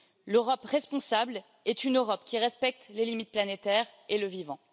L'Europe responsable est une Europe qui respecte les limites planétaires et le vivant.